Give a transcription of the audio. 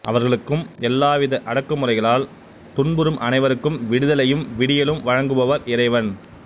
அவர்களுக்கும் எல்லாவித அடக்குமுறைகளால் துன்புறும் அனைவருக்கும் விடுதலையும் விடியலும் வழங்குபவர் இறைவன்